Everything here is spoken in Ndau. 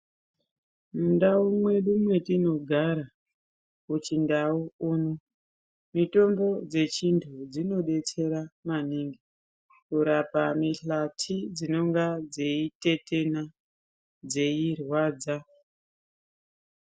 Mundau mwedu mwatinogara kuchindau kuno mitombo dzechintu dzinobetsera maningi, kurapa mihlati dzinenge dzeitetena dzeirwadza.